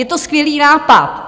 Je to skvělý nápad.